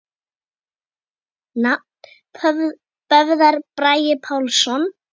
Nafn: Böðvar Bragi Pálsson